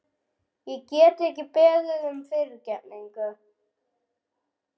Ég get ekki beðið um fyrirgefningu.